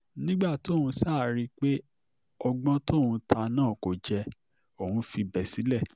nígbà tóun ṣáà rí i pé ọgbọ́n tóun ta náà kò jẹ́ òun fibẹ̀ sílẹ̀